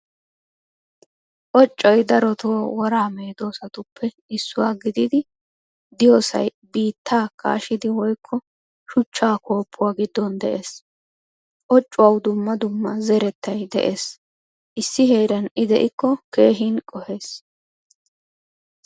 Occoy darotto wora medosattuppe issuwaa gididi deiyosay biittaa kashidi woykko shuchchaa koopuwaa giddon de'ees. Occouwawu dumma dumaa zerettay de'ees. Issi heeran i deiko keehin qohees.